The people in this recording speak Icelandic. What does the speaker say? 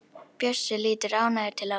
Bjössi lítur ánægður til Ásu.